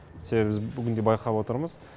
себебі біз бүгінде байқап отырмыз